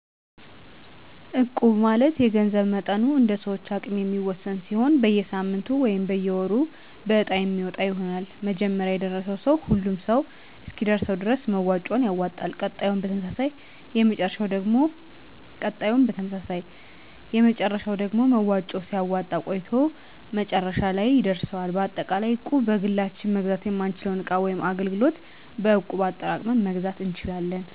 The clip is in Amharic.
እቁብ ማለት የገንዘብ መጠኑ እንደሰዎች አቅም የሚወሰን ሲሆን በየሳምንቱ ወይም በየወሩ በእጣ የሚወጣ ይሆናል መጀመሪያ የደረሰው ሰው ሁሉም ሰው እስኪደርሰው ድረስ መዋጮውን ያወጣል ቀጣዩም በተመሳሳይ የመጨረሻው ደግሞ መዋጮውን ሲያወጣ ቆይቶ መጨረሻለይ ይደርሰዋል በአጠቃላይ እቁብ በግላችን መግዛት የማንችለውን እቃ ወይም አገልግሎት በእቁብ አጠራቅመን መግዛት እንችላለን።